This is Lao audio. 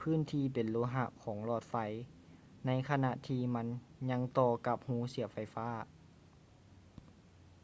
ພື້ນທີ່ເປັນໂລຫະຂອງຫຼອດໄຟໃນຂະນະທີ່ມັນຍັງຕໍ່ກັບຮູສຽບໄຟຟ້າ